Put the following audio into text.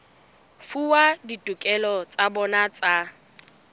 fuwa ditokelo tsa bona tsa